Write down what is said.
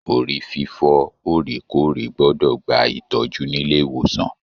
Orí fifọ orekoore gbọdọ gbà ìtọjú nílé ìwòsàn.